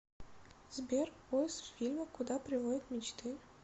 сбер поис фильма куда приводят мечты